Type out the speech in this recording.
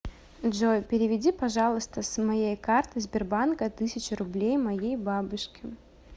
джой переведи пожалуйста с моей карты сбербанка тысячу рублей моей бабушке